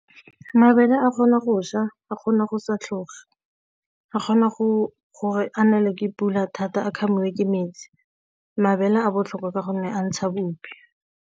Mabele a kgona go šwa, a kgona go sa tlhoge, a kgona go gore a nelwe ke pula thata a kgamiwe ke metsi, mabele a botlhokwa ka gonne a ntsha bupi.